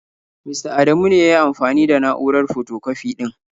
Mista Adamu ne ya yi amfani da na'urar fotokwafi ɗin.